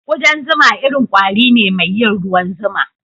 Kudan zuma irin kwari ne mai yin ruwan zuma.